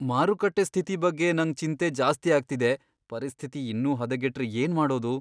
ಮಾರುಕಟ್ಟೆ ಸ್ಥಿತಿ ಬಗ್ಗೆ ನಂಗ್ ಚಿಂತೆ ಜಾಸ್ತಿ ಆಗ್ತಿದೆ. ಪರಿಸ್ಥಿತಿ ಇನ್ನೂ ಹದಗೆಟ್ರೆ ಏನ್ಮಾಡೋದು?